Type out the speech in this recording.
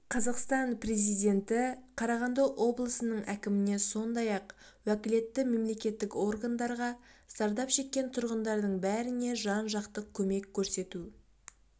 қазақстан президенті қарағанды облысының әкіміне сондай-ақ уәкілетті мемлекеттік органдарға зардап шеккен тұрғындардың бәріне жан-жақты көмек көрсету